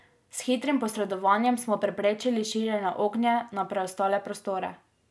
S hitrim posredovanjem smo preprečili širjenje ognja na preostale prostore.